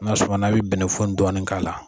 N'a sumana a bi bɛnɛfu in dɔɔnin k'a la